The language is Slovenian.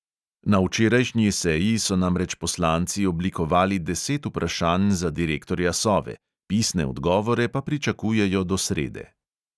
Na včerajšnji seji so namreč poslanci oblikovali deset vprašanj za direktorja sove, pisne odgovore pa pričakujejo do srede.